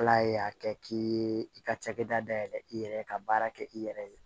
Ala y'a kɛ k'i ye i ka cakɛda dayɛlɛ i yɛrɛ ka baara kɛ i yɛrɛ ye